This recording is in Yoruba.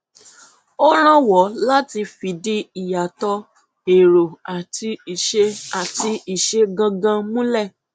ó rànwọ láti fìdí ìyàtọ èrò àti ìṣe àti ìṣe gangan múlẹ